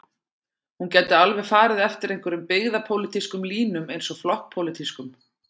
Hún gæti alveg farið eftir einhverjum byggðapólitískum línum eins og flokkspólitískum.